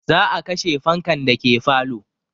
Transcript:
Za a kashe fankan dake falo